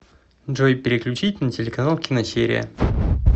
джой переключить на телеканал киносерия